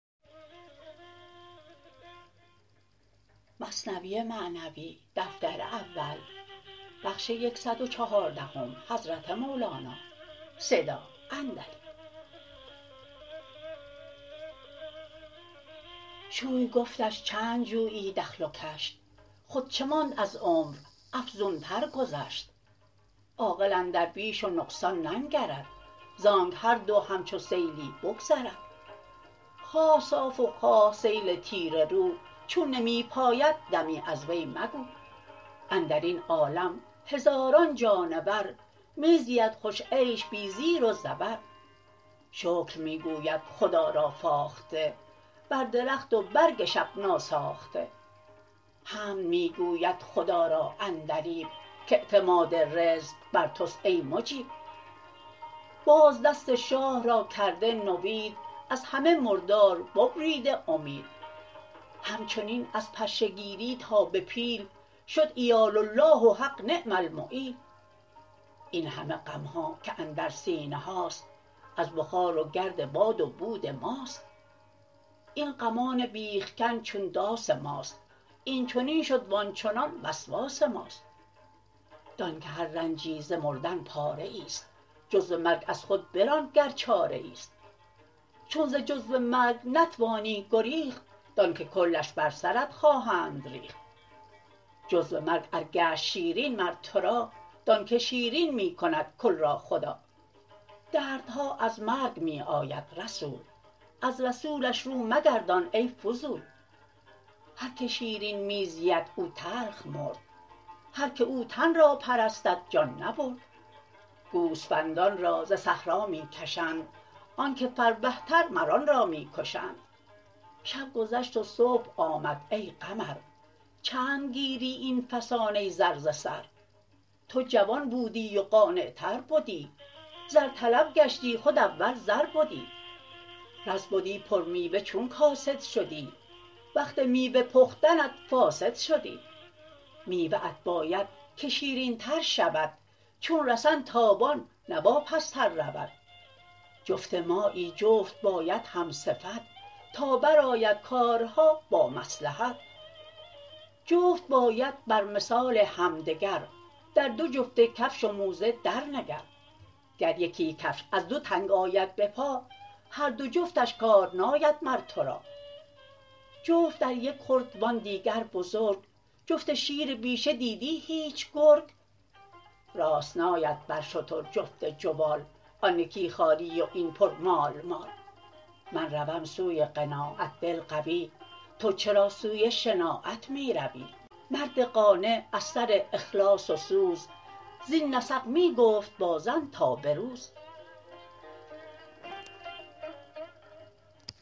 شوی گفتش چند جویی دخل و کشت خود چه ماند از عمر افزون تر گذشت عاقل اندر بیش و نقصان ننگرد زانک هر دو همچو سیلی بگذرد خواه صاف و خواه سیل تیره رو چون نمی پاید دمی از وی مگو اندرین عالم هزاران جانور می زید خوش عیش بی زیر و زبر شکر می گوید خدا را فاخته بر درخت و برگ شب نا ساخته حمد می گوید خدا را عندلیب کاعتماد رزق بر تست ای مجیب باز دست شاه را کرده نوید از همه مردار ببریده امید همچنین از پشه گیری تا به پیل شد عیال الله و حق نعم المعیل این همه غمها که اندر سینه هاست از بخار و گرد باد و بود ماست این غمان بیخ کن چون داس ماست این چنین شد و آنچنان وسواس ماست دان که هر رنجی ز مردن پاره ایست جزو مرگ از خود بران گر چاره ایست چون ز جزو مرگ نتوانی گریخت دان که کلش بر سرت خواهند ریخت جزو مرگ ار گشت شیرین مر ترا دان که شیرین می کند کل را خدا دردها از مرگ می آید رسول از رسولش رو مگردان ای فضول هر که شیرین می زید او تلخ مرد هر که او تن را پرستد جان نبرد گوسفندان را ز صحرا می کشند آنک فربه تر مر آن را می کشند شب گذشت و صبح آمد ای تمر چند گیری این فسانه زر ز سر تو جوان بودی و قانع تر بدی زر طلب گشتی خود اول زر بدی رز بدی پر میوه چون کاسد شدی وقت میوه پختنت فاسد شدی میوه ات باید که شیرین تر شود چون رسن تابان نه واپس تر رود جفت مایی جفت باید هم صفت تا برآید کارها با مصلحت جفت باید بر مثال همدگر در دو جفت کفش و موزه در نگر گر یکی کفش از دو تنگ آید به پا هر دو جفتش کار ناید مر ترا جفت در یک خرد وان دیگر بزرگ جفت شیر بیشه دیدی هیچ گرگ راست ناید بر شتر جفت جوال آن یکی خالی و این پر مال مال من روم سوی قناعت دل قوی تو چرا سوی شناعت می روی مرد قانع از سر اخلاص و سوز زین نسق می گفت با زن تا بروز